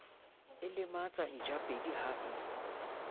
o lematsa ntjapedi ha e